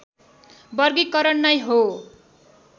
वर्गीकरण नै हो